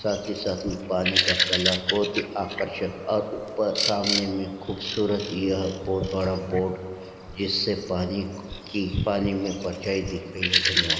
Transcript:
साथ ही साथ पानी का कलर बहुत ही आकर्षक और ऊपर सामने मे खूबसूरत यह बहुत बड़ा बोर्ड जिससे पानी क की पानी मे परछाई दिख रही है धन्यवाद।